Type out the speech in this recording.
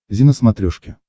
зи на смотрешке